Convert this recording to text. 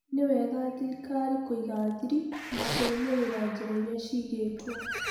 Nĩwega thirikariinĩ kũiga thiri na gũrũmirĩra njĩra iria ciigĩtwo.